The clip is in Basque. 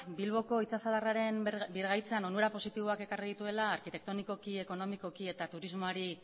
bilboko itsasadarraren birgaitzan onura positiboak ekarri dituela arkitektonikoki ekonomikoki eta turismoari